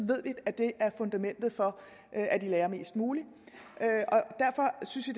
ved vi at det er fundamentet for at de lærer mest muligt derfor synes vi